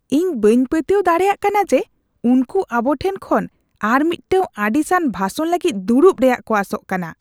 ᱤᱧ ᱵᱟᱹᱧ ᱯᱟᱹᱛᱭᱟᱹᱣ ᱫᱟᱲᱮᱭᱟᱜ ᱠᱟᱱᱟ ᱡᱮ ᱩᱱᱠᱩ ᱟᱵᱚᱴᱷᱮᱱ ᱠᱷᱚᱱ ᱟᱨ ᱢᱤᱫᱴᱟᱝ ᱟᱹᱲᱤᱥᱟᱱ ᱵᱷᱟᱥᱚᱱ ᱞᱟᱹᱜᱤᱫ ᱫᱩᱲᱩᱵ ᱨᱮᱭᱟᱜ ᱠᱚ ᱟᱥᱚᱜ ᱠᱟᱱᱟ ᱾